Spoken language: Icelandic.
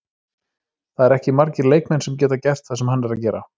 Það eru ekki margir leikmenn sem geta gert það sem hann er að gera.